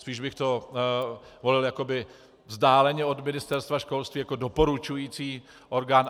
Spíš bych to volil jakoby vzdáleně od Ministerstva školství, jako doporučující orgán.